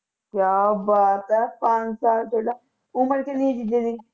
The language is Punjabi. ਕਿਆ ਬਾਤ ਹੈ ਪੰਜ ਸਾਲ ਪਹਿਲਾ ਉਮਰ ਕਿੰਨੀ ਜੀਜੇ ਦੀ